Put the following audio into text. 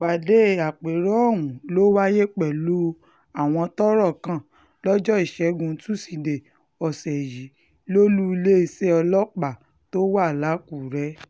ìpàdé àpérò ọ̀hún ló wáyé pẹ̀lú àwọn tọ́rọ̀ kàn lọ́jọ́ ìṣẹ́gun tusidee ọ̀sẹ̀ yìí lólu iléeṣẹ́ ọlọ́pàá tó wà lákùrẹ́